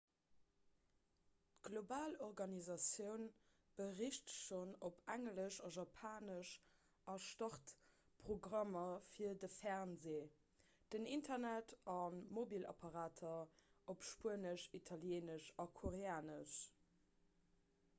d'global organisatioun bericht schonn op englesch a japanesch a start programmer fir de fernsee den internet a mobilapparater op spuenesch italieenesch a koreanesch